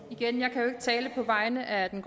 det